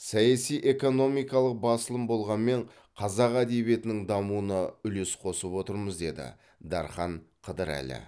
саяси экономикалық басылым болғанмен қазақ әдебиетінің дамуына үлес қосып отырмыз деді дархан қыдырәлі